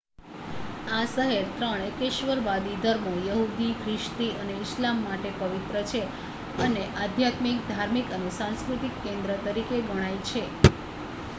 આ શહેર ત્રણ એકેશ્વરવાદી ધર્મો યહુદી ખ્રિસ્તી અને ઇસ્લામ માટે પવિત્ર છે અને આધ્યાત્મિક ધાર્મિક અને સાંસ્કૃતિક કેન્દ્ર તરીકે ગણાય છે